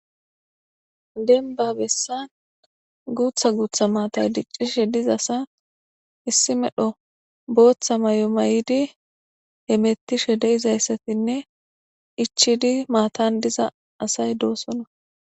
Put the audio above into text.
denba bessan guutha guutha maatay diccishe diza asa issi medho booththa may7o mayidi emettishe de izayssatinne ichidi maatan diza asay doosona